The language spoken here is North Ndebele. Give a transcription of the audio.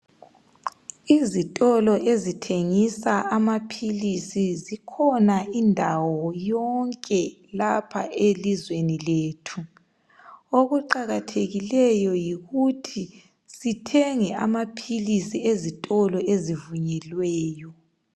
Izitolo ezithengisa amaphilisi zikhona indawo yonke lapha elizweni lethu, okuqakathekikeyo yikuthi sithenge amaphilizi ezitolo ezivunyelweyo.